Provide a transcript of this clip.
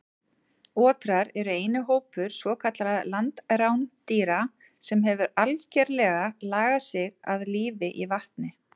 Otrar eru eini hópur svokallaðra landrándýra sem hefur algerlega lagað sig að lífi í vatni.